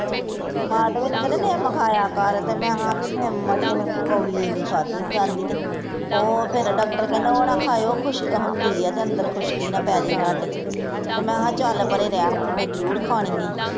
ਹਾਂ ਤੇ ਮੈਨੂੰ ਕਹਿੰਦੇ ਨਿਮ ਖਾਇਆ ਕਰ ਤੇ ਮੈਂ ਕਿਹਾ ਨਿਮ ਅੜੀਏ ਕੋੜੀ ਏਨੀ ਮੇਰੇ ਕੋਲੋਂ ਖਾਧੀ ਨੀ ਜਾਂਦੀ ਤੇ, ਓਹ ਫਿਰ ਡਾਕਟਰ ਕਹਿੰਦਾ ਉਹ ਨਾ ਖਾਇਓ ਓਹ ਖੁਸਕ ਹੁੰਦੀ ਐ ਤੇ ਅੰਦਰ ਖੁਸਕੀ ਨਾ ਪੈਜੇ ਤੁਹਾਡੇ ਤੇ ਮੈਂ ਕਿਹਾ ਚੱਲ ਪਰੇ ਮੈਂ ਜਰੂਰ ਖਾਣੀ ਐ